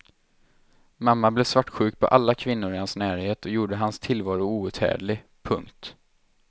Mamman blev svartsjuk på alla kvinnor i hans närhet och gjorde hans tillvaro outhärdlig. punkt